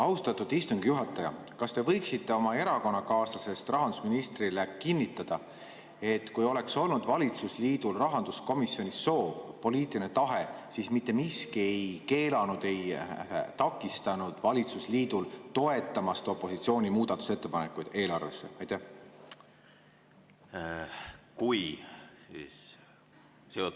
Austatud istungi juhataja, kas te võiksite oma erakonnakaaslasest rahandusministrile kinnitada, et kui valitsusliidul oleks rahanduskomisjonis olnud soov, poliitiline tahe, siis mitte miski ei oleks keelanud ega takistanud valitsusliidul toetamast opositsiooni muudatusettepanekuid eelarve kohta?